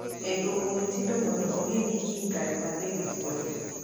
e dwoko Mutindo mondo ong'e ni kare kiny nabed thuolo